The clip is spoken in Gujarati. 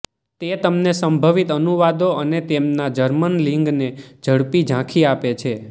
તે તમને સંભવિત અનુવાદો અને તેમના જર્મન લિંગને ઝડપી ઝાંખી આપે છે